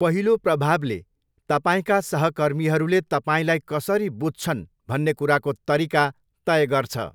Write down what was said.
पहिलो प्रभावले तपाईँका सहकर्मीहरूले तपाईँलाई कसरी बुझ्छन् भन्ने कुराको तरिका तय गर्छ।